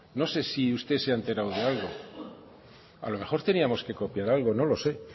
no sé si usted se ha enterado de algo a lo mejor teníamos que copiar algo no lo sé